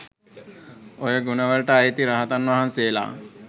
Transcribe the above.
ඔය ගුණවලට අයිතියි රහතන් වහන්සේලා